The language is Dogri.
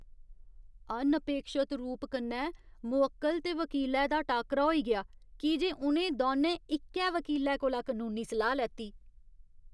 अनअपेक्षत रूप कन्नै, मुवक्कल ते वकीलै दा टाकरा होई गेआ की जे उ'नें दौनें इक्कै वकीलै कोला कनूनी सलाह् लैती।